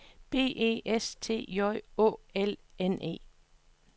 B E S T J Å L N E